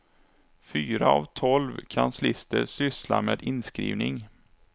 Fyra av tolv kanslister sysslar med inskrivning.